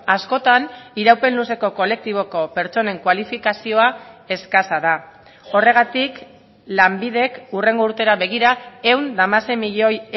askotan iraupen luzeko kolektiboko pertsonen kualifikazioa eskasa da horregatik lanbidek hurrengo urtera begira ehun eta hamasei milioi